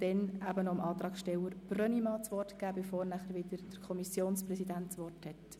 Anschliessend ist der Antragsteller Brönnimann an der Reihe, bevor der Kommissionspräsident das Wort übernimmt.